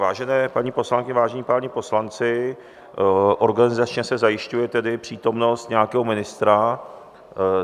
Vážené paní poslankyně, vážení páni poslanci, organizačně se zajišťuje tedy přítomnost nějakého ministra.